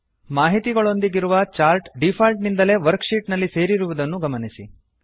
ಮಾಹಿತಿಗಳೊಂದಿಗಿರುವ chart default ನಿಂದಲೇ worksheet ನಲ್ಲಿ ಸೇರಿರುವುದನ್ನು ಗಮನಿಸಿ